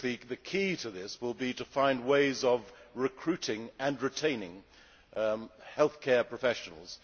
The key to this will be to find ways of recruiting and retaining healthcare professionals.